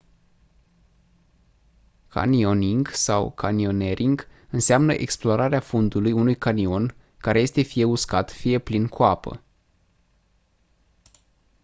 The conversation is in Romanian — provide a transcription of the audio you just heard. canyoning sau canyoneering înseamnă explorarea fundului unui canion care este fie uscat fie plin cu apă